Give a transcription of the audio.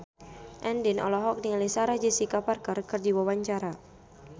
Andien olohok ningali Sarah Jessica Parker keur diwawancara